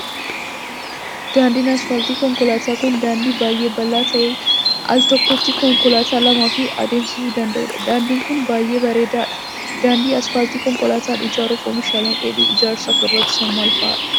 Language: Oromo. Daandiin asfaaltii konkolaataa kun, daandii baay'ee bal'aa ta'e aal tokkotti konkolaattota lamaa ol adeemsisuu danda'uu dha. Daandiin kun, baay'ee bareedaa dha. Daandii asfaaltii konkolaataa ijaaruuf oomishaaleen dheedhii ijaarsaaf barbaachisan maal faa dha?